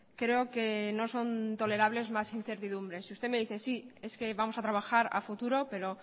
creo que no son tolerables más incertidumbres y usted me dice sí es que vamos a trabajar a futuro pero